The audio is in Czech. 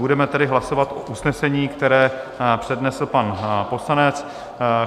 Budeme tedy hlasovat o usnesení, které přednesl pan poslanec.